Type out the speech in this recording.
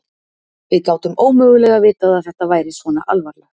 Við gátum ómögulega vitað að þetta væri svona alvarlegt.